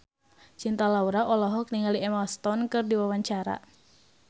Cinta Laura olohok ningali Emma Stone keur diwawancara